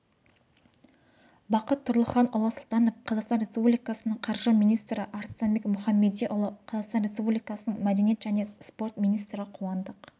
бақыт тұрлыханұлы сұлтанов қазақстан республикасының қаржы министрі арыстанбек мұхамедиұлы қазақстан республикасының мәдениет және спорт министрі қуандық